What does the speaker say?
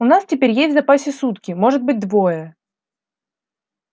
у нас теперь есть в запасе сутки может быть двое